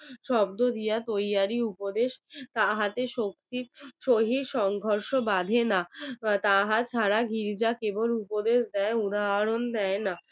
শব্দ দিয়া তৈয়ারী উপদেশ তাহাতে শক্তির শহীদ সংঘর্ষ বাধেনা তাহা ছাড়া গির্জা কেবল উপদেশ দেয় উদাহরণ দেয় না